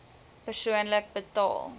persoonlik betaal